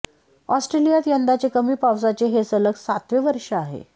ऑस्ट्रेलियात यंदाचे कमी पावसाचे हे सलग सातवे वर्ष आहे